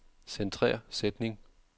Centrer sætning.